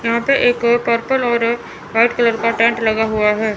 यहां पे एक पर्पल और एक व्हाइट कलर का टेंट लगा हुआ है।